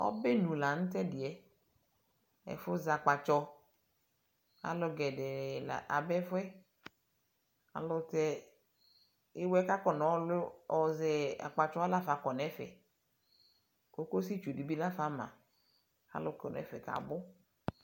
Ɔbɛɛnu lanu tɛdiɛ ɛfuu ʒɛ akpatsɔ aluugɛdɛɛ kaba ɛfuɛ alutɛ iwɛɛ kakɔnɔlu ɔʒɛɛ akpatsɔwa lakɔɔ nɛfɛɛ kokosi tsu dibi lafa ma alukɔnɔ ɛfɛɛ kabu